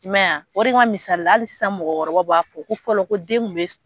I ma ye a o de kama misali hali sisan mɔgɔkɔrɔbaw b'a fɔ ko fɔlɔ ko den kun bɛ